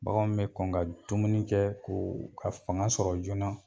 Baganw bɛ kɔn ka dumuni kɛ koo ka fanga sɔrɔ joona.